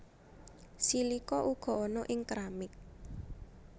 Silika uga ana ing keramik